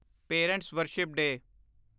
parents' worship day